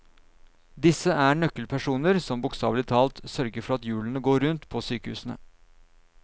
Disse er nøkkelpersoner som bokstavelig talt sørger for at hjulene går rundt på sykehusene.